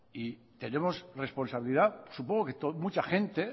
y tenemos responsabilidad supongo que mucha gente